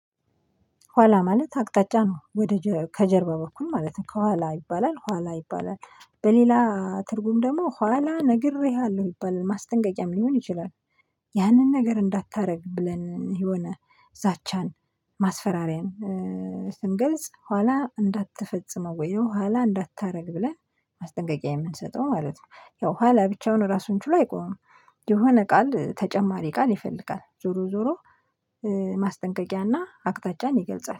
ኋላ ማለት አቅጣጫ ነው ወደ ከጀርባ በኩል ማለት ነው ከኋላ ይባላል ኋላ ይባላል፣ በሌላ ትርጉም ደግሞ ኋላ ነግሬሃለሁ ይባላል ማስጠንቀቂያም ሊሆን ይችላል። ያንን ነገር እንዳታደርግ ብለን የሆነ ዛቻን፣ ማስፈራሪያን ስንገልጽ ኋላ እንዳትፈጽመው ወይ ኋላ እንዳታደርግ ብለን ማስጠንቀቂያ የምንሰጠው ማለት ነው፤ ያው ኋላ ብቻውን ራሱን ችሎ አይቆምም የሆነ ቃል ተጨማሪ ቃል ይፈልጋል ዞሮ ዞሮ ማስጠንቀቂያና አቅጣጫን ይገልጻል።